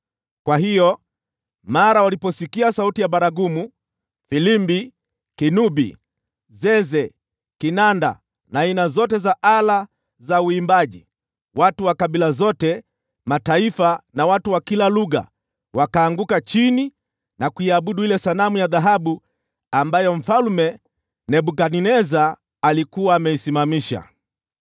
Kwa hiyo, mara waliposikia sauti ya baragumu, filimbi, kinubi, zeze, kinanda na aina zote za ala za uimbaji, watu wa kabila zote, mataifa na watu wa kila lugha wakaanguka chini na kuiabudu ile sanamu ya dhahabu ambayo Mfalme Nebukadneza alikuwa ameisimamisha.